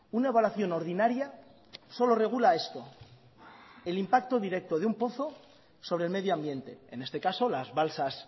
una evaluación ordinaria solo regula esto el impacto directo de un pozo sobre el medio ambiente en este caso las balsas